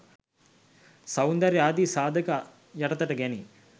සෞන්දර්ය ආදී සාධක යටතට ගැනේ.